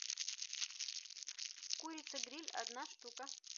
курица гриль одна штука